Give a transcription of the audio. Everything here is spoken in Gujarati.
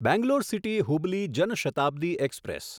Bangalore city Hubli Jan Shatabdi express